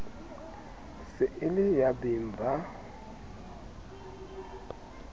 se e le yabeng ba